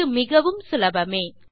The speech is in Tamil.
இது மிகவும் சுலபமே